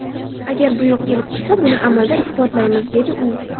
Agar buyruq kelib tushsa, buni amalda isbotlaymiz”, dedi u.